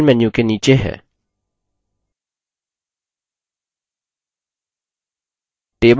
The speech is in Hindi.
save icon पर click करें जो file menu के नीचे है